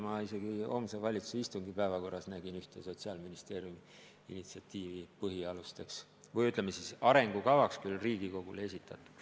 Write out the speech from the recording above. Ma isegi homse valitsuse istungi päevakorras nägin ühte Sotsiaalministeeriumi initsiatiivi, mis puudutab põhialuseid Riigikogu tasemel.